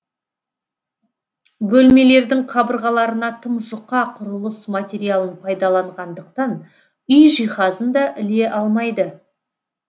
бөлмелердің қабырғаларына тым жұқа құрылыс материалын пайдаланғандықтан үй жиһазын да іле алмайды